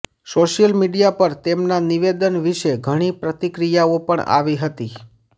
social media પર તેમના નિવેદન વિશે ઘણી પ્રતિક્રિયાઓ પણ આવી હતી